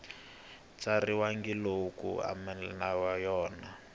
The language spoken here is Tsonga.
tsariwangi lowu khomanisiweke na yona